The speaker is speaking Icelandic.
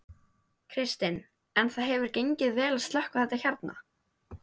Kristinn: En það hefur gengið vel að slökkva þetta hérna?